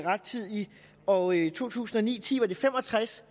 rettidigt og i to tusind og ni til ti var det fem og tres